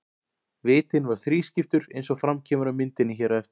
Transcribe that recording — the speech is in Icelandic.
Vitinn var þrískiptur eins og fram kemur á myndinni hér á eftir.